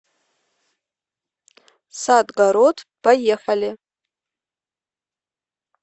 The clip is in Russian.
садгород поехали